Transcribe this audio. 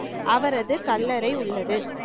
அவரது கல்லறை உள்ளது